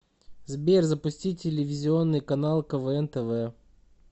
сбер запусти телевизионный канал квн тв